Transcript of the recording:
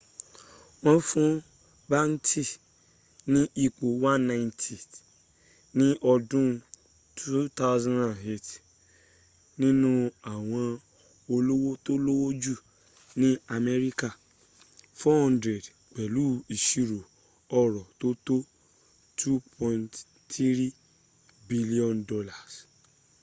wọ́n fún batten ní ipò 190th ní ọdún 2008 nínu àwọn olówó tó lówó jù ní amẹ́ríkà 400 pẹ̀lú ìṣirò ọrọ̀ tó tó $2.3 billion